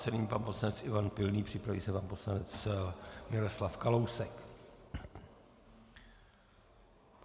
Nyní pan poslanec Ivan Pilný, připraví se pan poslanec Miroslav Kalousek.